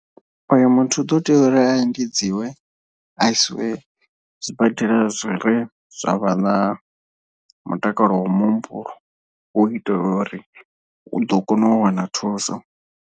Uyo muthu u ḓo tea uri a endedziwe a isiwe zwibadela zwi re zwa vha na mutakalo wa muhumbulo hu itela uri u ḓo kona u wana thuso.